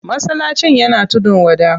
Masallacin yana tudun wada.